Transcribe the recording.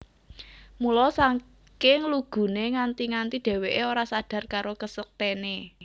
Mula saking luguné nganti nganti dhèwèké ora sadar karo kasektèné